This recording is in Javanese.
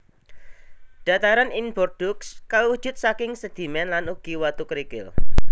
Dhataran ing Bordeaux kawujud saking sedhimén lan ugi watu krikil